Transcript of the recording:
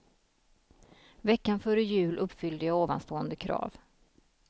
Veckan före jul uppfyllde jag ovanstående krav.